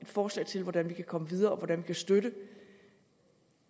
forslag til hvordan vi kan komme videre og hvordan vi kan støtte